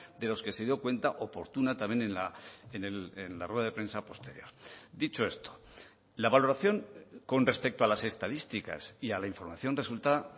de los que se dio cuenta oportuna también en la rueda de prensa posterior dicho esto la valoración con respecto a las estadísticas y a la información resulta